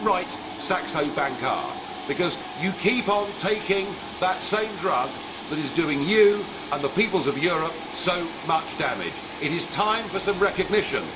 And how right Saxo Bank are, because you keep on taking that same drug that is doing you and the peoples of Europe so much damage. It is time for some recognition.